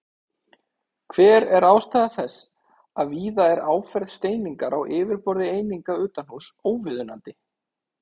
Hver er ástæða þess að víða er áferð steiningar á yfirborði eininga utanhúss óviðunandi?